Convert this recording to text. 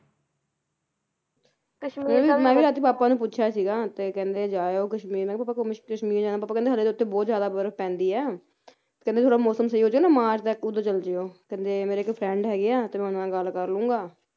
ਕਸ਼ਮੀਰ ਮੈਂ ਵੀ ਅੱਜ ਪਾਪਾ ਨੂੰ ਪੁੱਛਿਆ ਸੀਗਾ ਤੇ ਕਹਿੰਦੇ ਜਾ ਆਓ ਕਸ਼ਮੀਰ ਮੈਂ ਕਿਹਾ ਪਾਪਾ ਕਸ਼ਮੀਰ ਜਾਣਾ ਪਾਪਾ ਕਹਿੰਦੇ ਹਲੇ ਤਾਂ ਉੱਥੇ ਬਹੁਤ ਜ਼ਿਆਦਾ ਬਰਫ ਪੈਂਦੀ ਐ ਕਹਿੰਦੇ ਥੋੜਾ ਮੌਸਮ ਸਹੀ ਹੋਜੇ ਨਾ ਮਾਰਚ ਤੱਕ ਉਹਦੋਂ ਚਲਜਿਓ ਕਹਿੰਦੇ ਮੇਰਾ ਇੱਕ friend ਹੈਗੇ ਆ ਤੇ ਮੈਂ ਉਹਨਾਂ ਨਾਲ ਗੱਲ ਕਰਲੂੰਗਾ